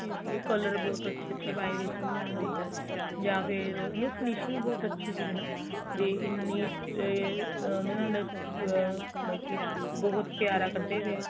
color ਬਹੁਤ ਅੱਛੇ ਅੱਛੇ ਪਾਏ ਹੋਏ ਸੀ ਉਹਨਾ ਦੇ ਜਾਂ ਫ਼ੇਰ finishing ਬਹੁਤ ਅੱਛੀ ਸੀਗੀ ਨਾ ਵੀ ਇੰਨੀ ਬਹੁਤ ਪਿਆਰਾ ਕੱਢੇ ਪਏ ਏ